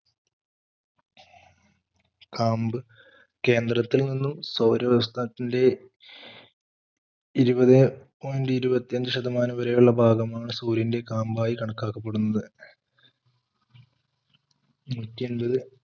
കാമ്പ്കേന്ദ്രത്തിൽ നിന്നും സൗരസ്ഥാനത്തിന്റെ ഇരുപതെ point ഇരുപത്തിയഞ്ച് ശതമാനം വരെയുള്ള പാദമാണ് സൂര്യൻറെ കാമ്പായി കണക്കാക്കപ്പെടുന്നത നൂറ്റിയൻപത്,